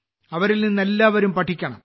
അവരിൽ നിന്ന് എല്ലാവരും പഠിക്കണം